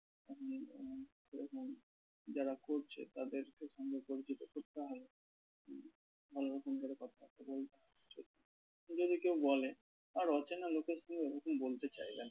যারা করছে তাদের কে সঙ্গে পরিচিত করতে হবে উহ যদি কেউ বলে আর অচেনা লোকের সাথে ওরকম বলতে চাইবে না।